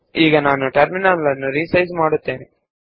ಈಗ ನಾನು ಈ ಟರ್ಮಿನಲ್ ನ್ನು ಚಿಕ್ಕದಾಗಿಸುತ್ತೇನೆ